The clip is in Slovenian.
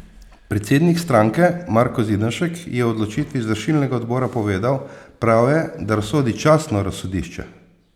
Predsednik stranke Marko Zidanšek je o odločitvi izvršilnega odbora povedal: "Prav je, da razsodi častno razsodišče.